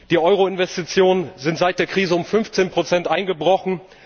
Die Euro Investitionen sind seit der Krise um 15 Prozent eingebrochen.